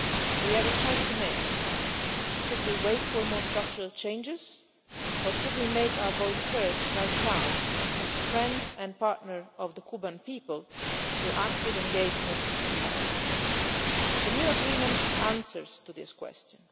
We have a choice to make should we wait for more structural changes or should we make our voice heard right now, as a friend and partner of the Cuban people, through active engagement and dialogue? The new agreement answers this question.